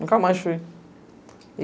Nunca mais fui.